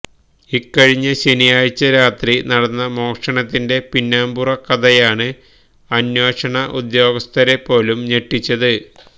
ഇക്കഴിഞ്ഞ ശനിയാഴ്ച്ച രാത്രി നടന്ന മോഷണത്തിന്റെ പിന്നാമ്പുറ കഥയാണ് അന്വേഷണ ഉദ്യോഗസ്ഥരെ പോലും ഞെട്ടിച്ചത്